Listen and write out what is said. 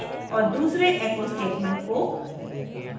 और दूसरे echo statement को